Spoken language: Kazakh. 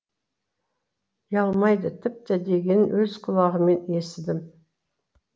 ұялмайды тіпті дегенін өз құлағыммен естідім